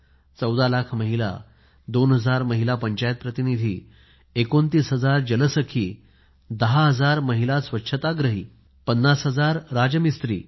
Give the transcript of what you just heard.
14 लाख महिला 2 हजार महिला पंचायत प्रतिनिधी 10 हजार महिला स्वच्छाग्रही 50 हजार राज मिस्त्री